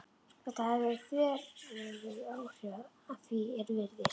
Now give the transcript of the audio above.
Þetta hafði þveröfug áhrif, að því er virðist.